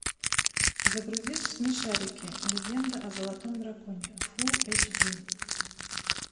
загрузи смешарики легенда о золотом драконе фулл эйч ди